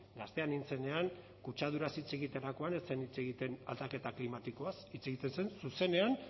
gaztea nintzenean kutsaduraz hitz egiterakoan ez zen hitz egiten aldaketa klimatikoaz hitz egiten zen zuzenean